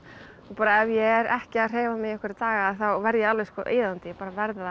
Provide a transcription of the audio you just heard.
ef ég er ekki að hreyfa mig í einhverja daga þá verð ég alveg iðandi ég bara verð að